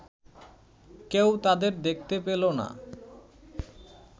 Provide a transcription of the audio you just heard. কেউ তাদের দেখতে পেল না